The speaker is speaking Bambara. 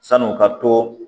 San'o ka to